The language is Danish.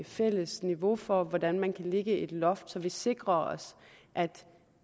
fælles niveau for hvordan man kan lægge et loft der sikrer at